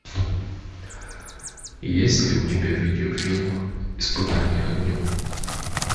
есть ли у тебя видеофильм испытание огнем